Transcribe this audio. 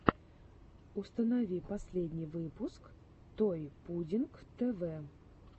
установи последний выпуск той пудинг тэ вэ